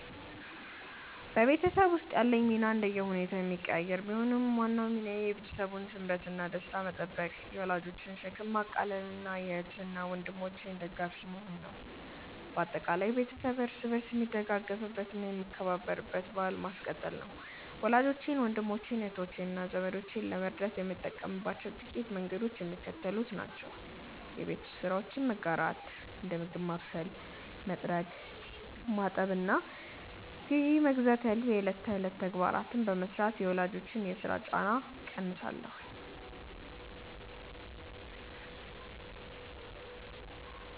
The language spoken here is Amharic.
በቤተሰብ ውስጥ ያለኝ ሚና እንደየሁኔታው የሚቀያየር ቢሆንም፣ ዋናው ሚናዬ የቤተሰቡን ስምረትና ደስታ መጠበቅ፣ የወላጆችን ሸክም ማቃለልና የእህት ወንድሞቼ ደጋፊ መሆን ነው። በአጠቃላይ፣ ቤተሰብ እርስ በርስ የሚደጋገፍበትና የሚከባበርበትን ባሕል ማስቀጠል ነው። ወላጆቼን፣ ወንድሞቼን፣ እህቶቼንና ዘመዶቼን ለመርዳት የምጠቀምባቸው ጥቂት መንገዶች የሚከተሉት ናቸው የቤት ውስጥ ስራዎችን መጋራት፦ እንደ ምግብ ማብሰል፣ መጥረግ፣ ማጠብና ግዢ መግዛት ያሉ የዕለት ተዕለት ተግባራትን በመሥራት የወላጆችን የሥራ ጫና እቀንሳለሁ